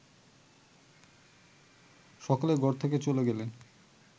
সকলে ঘর থেকে চলে গেলে